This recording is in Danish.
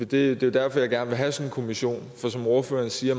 det er derfor jeg gerne vil have sådan en kommission for som ordføreren siger